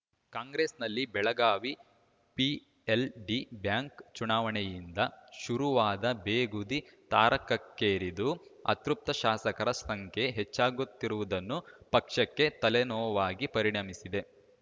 ಕಾಂಗ್ರೆಸ್‌ನಲ್ಲಿ Belagavi PLD bank ಚುನಾವಣೆಯಿಂದ ಶುರುವಾದ ಬೇಗುದಿ ತಾರಕಕ್ಕೇರಿದ್ದು ಅತೃಪ್ತ ಶಾಸಕರ ಸಂಖ್ಯೆ ಹೆಚ್ಚಾಗುತ್ತಿರುವುದನ್ನು ಪಕ್ಷಕ್ಕೆ ತಲೆನೋವಾಗಿ ಪರಿಣಮಿಸಿದೆ